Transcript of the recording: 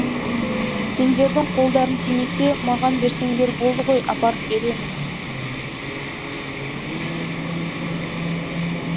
сендердің қолдарың тимесе маған берсеңдер болды ғой апарып беремін